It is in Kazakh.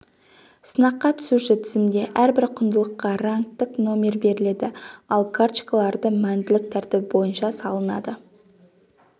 сынаққа түсуші тізімде әрбір құндылыққа рангтік номер беріледі ал карточкаларды мәнділік тәртібі бойынша салынады